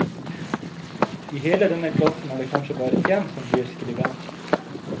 I hele denne klassen er det kanskje bare én som blir skribent.